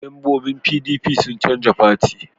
Mambobin PDP sun canja fati